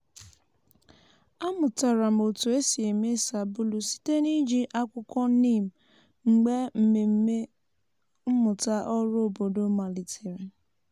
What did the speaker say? amụtara m otu esi eme sabulu site n’iji akwukwo neem mgbe mmemme mmụta oru obodo malitere.